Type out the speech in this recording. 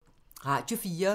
Radio 4